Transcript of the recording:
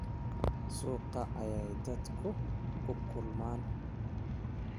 Suuqa ayay dadku ku kulmaan